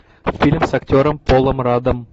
фильм с актером полом радом